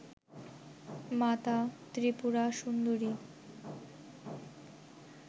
মাতা ত্রিপুরা সুন্দরী